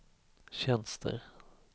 tjänster